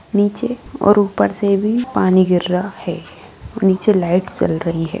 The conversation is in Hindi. नीचे और ऊपर से भी पानी गिर रहा है और नीचे लाइट्स जल रही है।